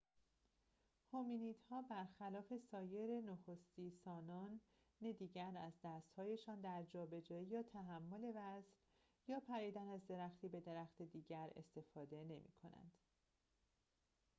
هومینیدها برخلاف سایر نخستی‌سانان دیگر از دست‌هایشان در جابجایی یا تحمل وزن یا پریدن از درختی به درخت دیگر استفاده نمی‌کنند